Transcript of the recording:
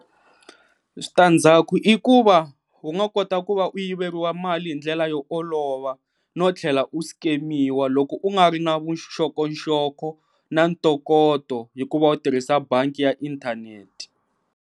Switandzaku i ku va unga kota ku va u yiveriwa mali hi ndlela yo olova no tlhela u skemiwa loko u nga ri na vuxokoxoko na ntokoto hikuva u tirhisa bangi ya inthanete.